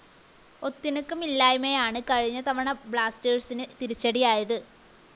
ഒത്തിണക്കമില്ലായ്മയാണ് കഴിഞ്ഞ തവണ ബ്ലാസ്റ്റേഴ്‌സിന് തിരിച്ചടിയായത്